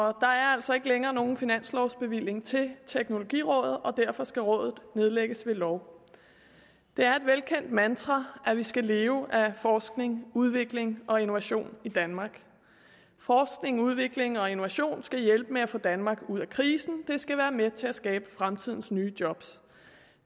er altså ikke længere nogen finanslovbevilling til teknologirådet og derfor skal rådet nedlægges ved lov det er et velkendt mantra at vi skal leve af forskning udvikling og innovation i danmark forskning udvikling og innovation skal hjælpe med at få danmark ud af krisen det skal være med til at skabe fremtidens nye job